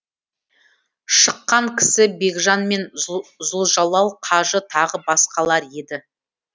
шыққан кісі бекжан мен зұлжалал қажы тағы басқалар еді